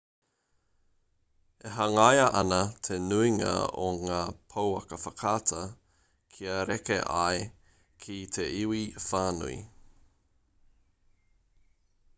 e hangaia ana te nuinga o ngā pouaka whakaata kia reka ai ki te iwi whānui